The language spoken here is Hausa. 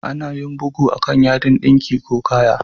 Ana yin bugu a'kan yadin dinki ko kaya.